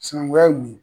Sinankunya ye mun ye